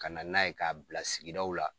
Ka na n'a ye k'a bila sigiw la.